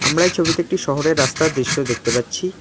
আমরা এই ছবিতে একটি শহরের রাস্তার দৃশ্য দেখতে পাচ্ছি।